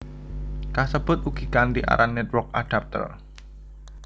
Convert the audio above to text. Kasebut ugi kanthi aran Network Adapter